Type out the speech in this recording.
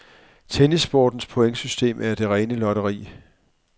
Tennissportens pointsystem er det rene lotteri.